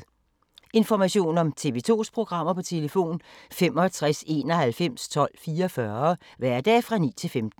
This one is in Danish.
Information om TV 2's programmer: 65 91 12 44, hverdage 9-15.